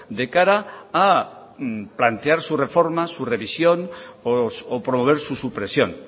de cara a plantear su reforma su revisión o promover su supresión